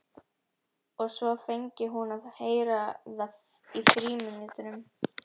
Og svo fengi hún að heyra það í frímínútunum.